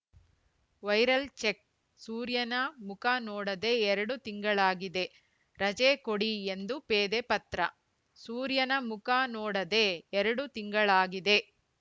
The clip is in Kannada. ವೈರಲ್‌ ಚೆಕ್‌ ಸೂರ್ಯನ ಮುಖ ನೋಡದೆ ಎರಡು ತಿಂಗಳಾಗಿದೆ ರಜೆ ಕೊಡಿ ಎಂದು ಪೇದೆ ಪತ್ರ ಸೂರ್ಯನ ಮುಖ ನೋಡದೆ ಎರಡು ತಿಂಗಳಾಗಿದೆ